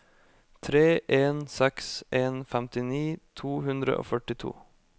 tre en seks en femtini to hundre og førtito